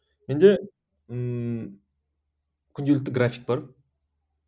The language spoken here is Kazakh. менде ммм күнделікті график бар